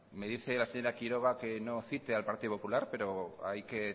me dice la señora quiroga que no cite al partido popular pero hay que